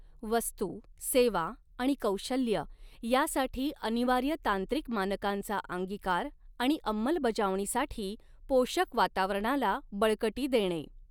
वस्तू, सेवा आणि कौशल्य यांसाठी अनिवार्य तांत्रिक मानकांचा अंगिकार आणि अंमलबजावणीसाठी पोषक वातावऱणाला बळकटी देणे.